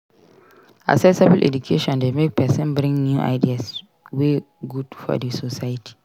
Accessible education de make persin bring new ideas wey good for di society